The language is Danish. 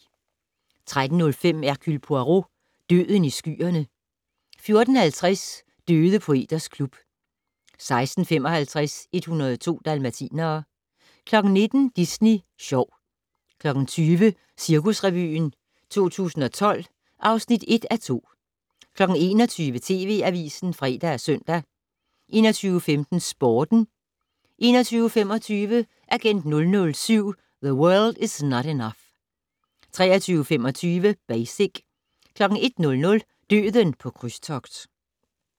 13:05: Hercule Poirot: Døden i skyerne 14:50: Døde poeters klub 16:55: 102 dalmatinere 19:00: Disney Sjov 20:00: Cirkusrevyen 2012 (1:2) 21:00: TV Avisen (fre og søn) 21:15: Sporten 21:25: Agent 007 - The World Is Not Enough 23:25: Basic 01:00: Døden på krydstogt